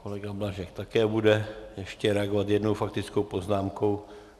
Kolega Blažek bude také ještě reagovat jednou faktickou poznámkou.